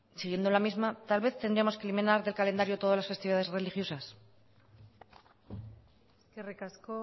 siguiendo la misma tal vez tendríamos que eliminar del calendario todas las festividades religiosas eskerrik asko